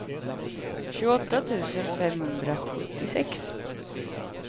tjugoåtta tusen femhundrasjuttiosex